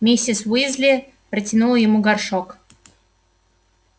миссис уизли протянула ему горшок